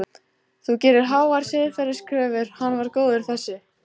Þú gerir háar siðferðiskröfur, hann var góður þessi.